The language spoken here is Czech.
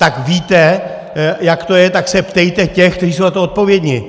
Tak víte, jak to je, tak se ptejte těch, kteří jsou za to odpovědní.